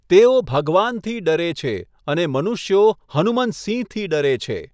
તેઓ ભગવાનથી ડરે છે, અને મનુષ્યો હનુમંત સિંહથી ડરે છે.